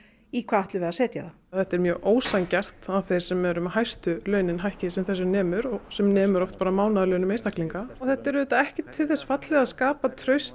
í hvað ætlum við að setja það þetta er mjög ósanngjarnt að þeir sem eru með hæstu launin hækki sem þessu nemur sem nemur oft einstaklinga þetta er auðvitað ekki til þess fallið að skapa traust